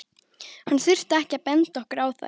Hann þurfti ekki að benda okkur á þær.